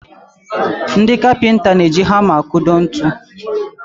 Ndị kapịnta n'eji hama akụdo ntu